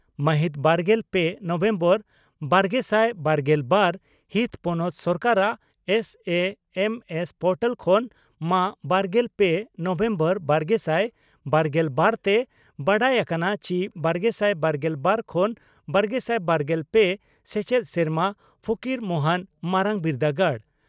ᱢᱟᱦᱤᱛ ᱵᱟᱨᱜᱮᱞ ᱯᱮ ᱱᱚᱵᱷᱮᱢᱵᱚᱨ ᱵᱟᱨᱜᱮᱥᱟᱭ ᱵᱟᱨᱜᱮᱞ ᱵᱟᱨ ᱦᱤᱛ ᱯᱚᱱᱚᱛ ᱥᱚᱨᱠᱟᱨᱟᱜ S A M S portal ᱠᱷᱚᱱ ᱢᱟᱹ ᱵᱟᱨᱜᱮᱞ ᱯᱮ ᱱᱚᱵᱷᱮᱢᱵᱚᱨ ᱵᱟᱨᱜᱮᱥᱟᱭ ᱵᱟᱨᱜᱮᱞ ᱵᱟᱨ ᱛᱮ ᱵᱟᱰᱟᱭ ᱟᱠᱟᱱᱟ ᱪᱤ ᱵᱟᱨᱜᱮᱥᱟᱭ ᱵᱟᱨᱜᱮᱞ ᱵᱟᱨ ᱠᱷᱚᱱ ᱵᱟᱨᱜᱮᱥᱟᱭ ᱵᱟᱨᱜᱮᱞ ᱯᱮ ᱥᱮᱪᱮᱫ ᱥᱮᱨᱢᱟ ᱯᱷᱚᱠᱤᱨ ᱢᱚᱦᱚᱱ ᱢᱟᱨᱟᱝ ᱵᱤᱨᱫᱟᱹᱜᱟᱲ